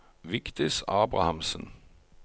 Vigdis Abrahamsen